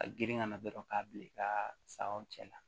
A girin ka na dɔrɔn k'a bila i ka sagaw cɛ la